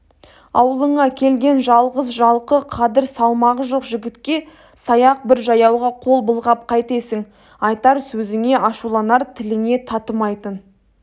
аулыңа келген жалғыз-жалқы қадір салмағы жоқ жігітке саяқ бір жаяуға қол былғап қайтесің айтар сөзіңе ашуланар тіліңе татымайтын